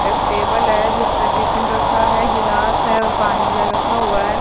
एक टेबल है जिस पे टिफिन रखा है गिलास है और पानी का रखा हुआ है।